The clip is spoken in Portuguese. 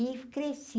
E cresci.